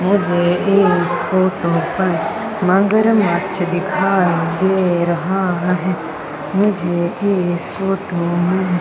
मुझे इस फोटो पर मगरमच्छ दिखाई दे रहा है मुझे इस फोटो में--